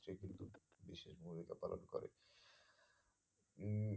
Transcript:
ভূমিকা পালন করে। উম